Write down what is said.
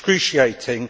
was excruciating.